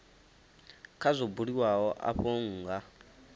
kha zwo buliwaho afho nha